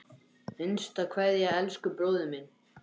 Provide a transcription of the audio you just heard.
HINSTA KVEÐJA Elsku bróðir minn.